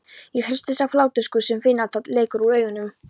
Ég hristist af hláturgusum, finn tár leka úr augunum.